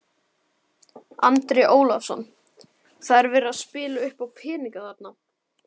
Andri Ólafsson: Það er verið að spila uppá peninga þarna?